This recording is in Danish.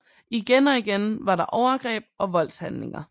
Igen og igen var der overgreb og voldshandlinger